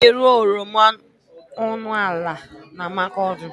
A na-ere oroma ọnụ ala na Makurdi.